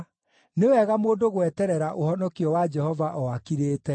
nĩ wega mũndũ gweterera ũhonokio wa Jehova o akirĩte.